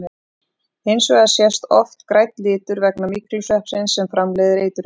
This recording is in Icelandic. Hins vegar sést oft grænn litur vegna myglusveppsins sem framleiðir eiturefnið.